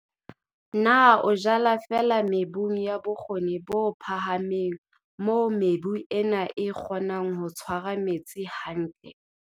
Na o jala feela mebung ya bokgoni bo phahameng moo mebu ena e kgonang ho tshwara metsi hantle?